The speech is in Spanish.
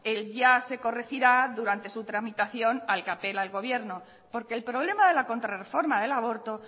el ya se corregirá durante su tramitación al que apela el gobierno porque el problema de la contra reforma del aborto